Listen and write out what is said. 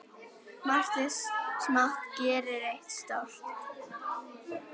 Margt smátt gerir eitt stórt!